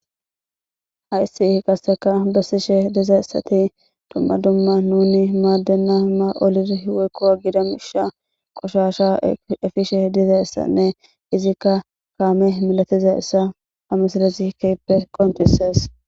Hayssi gasseka bessishe diza issati dumma dumma nuni maaddenna ma olirhweykkowa gida misha qoshasha efishe diza issanne izikka kaame milatiza issa hamasalezikeppe qontisees.